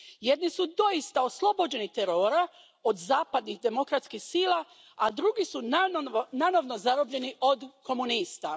Jedni su doista oslobođeni terora od zapadnih, demokratskih sila, a drugi su nanovo zarobljeni od komunista.